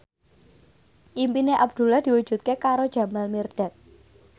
impine Abdullah diwujudke karo Jamal Mirdad